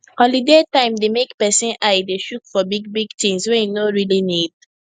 holiday time dey make person eye dey chook for big big things wey e no really need